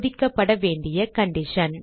சோதிக்கப்படவேண்டிய condition